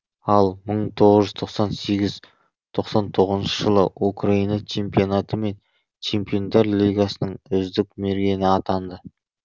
ал мың тоғыз жүз тоқсан сегіз тоқсан тоғызыншы жылы украина чемпионаты мен чемпиондар лигасының үздік мергені атанды